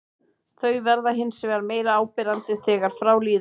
Þau verða hins vegar meira áberandi þegar frá líður.